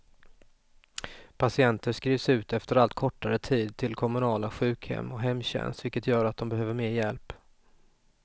Patienter skrivs ut efter allt kortare tid till kommunala sjukhem och hemtjänst, vilket gör att de behöver mer hjälp.